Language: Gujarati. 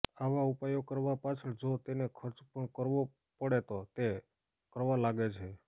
આવા ઉપાયો કરવા પાછળ જો તેને ખર્ચ પણ કરવો પડે તો તે કરવા લાગે છે